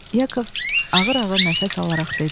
Yakov ağır-ağır nəfəs alaraq dedi: